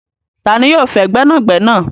Tani yóò fẹ gbẹnàgbẹ̀nà?